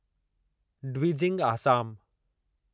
Dwijing Assam